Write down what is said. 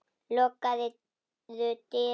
Lokaðu dyrunum á eftir þér.